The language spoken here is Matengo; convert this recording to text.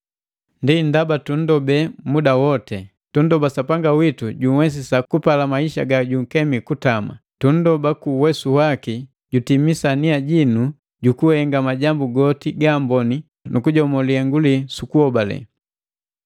Ndi ndaba tunndobe muda woti. Tunndoba Sapanga witu junhwesisa kupalika maisha gajunkemi kutama. Tunndoba, ku uwesu waki, jutimisa nia jinu jukuhenga majambu goti gaamboni nu kujomo lihengu lii su kuhobale.